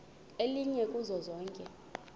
elinye kuzo zonke